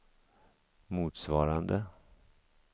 motsvarande